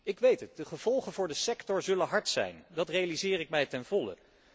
Ik weet het, de gevolgen voor de sector zullen hard zijn, dat realiseer ik mij ten volle.